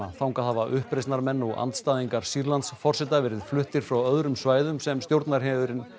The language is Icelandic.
þangað hafa uppreisnarmenn og andstæðingar Sýrlandsforseta verið fluttir frá öðrum svæðum sem stjórnarherinn